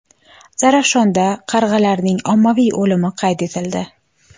Zarafshonda qarg‘alarning ommaviy o‘limi qayd etildi.